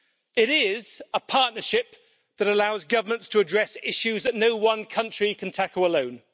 It is a partnership that allows governments to address issues that no one country can tackle alone.